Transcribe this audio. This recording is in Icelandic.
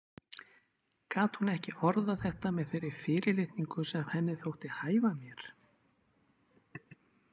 Gat hún ekki orðað þetta með þeirri fyrirlitningu sem henni þótti hæfa mér?